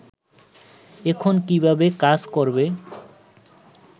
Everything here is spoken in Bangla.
এখন কীভাবে কাজ করবে